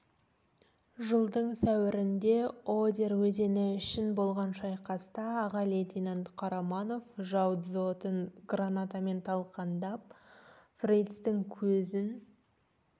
жылдың сәуірінде одер өзені үшін болған шайқаста аға лейтенант қараманов жау дзотын гранатамен талқандап фрицтің көзін